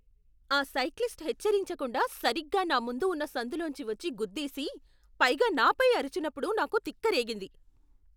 ఆ సైక్లిస్ట్ హెచ్చరించకుండా సరిగ్గా నా ముందు ఉన్న సందులోంచి వచ్చి గుద్దేసి, పైగా నాపై అరిచినప్పుడు నాకు తిక్కరేగింది.